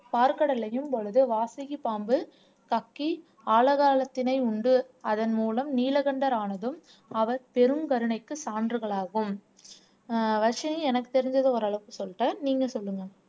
பாற்கடலையும் பொழுது வாசுகிப் பாம்பு கக்கி ஆலகாலத்தினை உண்டு அதன் மூலம் நீலகண்டரானதும் அவர் பெரும் கருணைக்கு சான்றுகளாகும் ஆஹ் வர்சினி எனக்கு தெரிஞ்சதை ஒரு அளவுக்கு சொல்லிட்டேன் நீங்க சொல்லுங்க